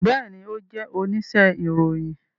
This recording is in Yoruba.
Bẹẹni, o jẹ onise iroyin